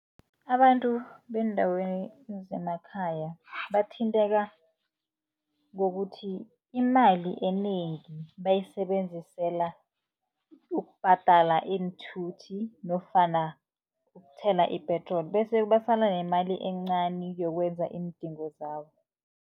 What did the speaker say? Abantu beendaweni ezisemakhaya bathinteka, ngokuthi imali enengi bayisebenzisela ukubhadala iinthuthi nofana ukuthela ipetroli. Bese basala nemali encani yokwenza iindingo zabo.